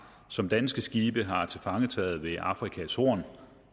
som danske skibe har tilfangetaget ved afrikas horn